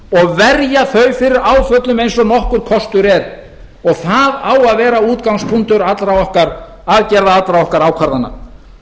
og verja þau fyrir áföllum eins og nokkur kostur er og það á að vera útgangspunktur allra okkar aðgerða allra okkar ákvarðana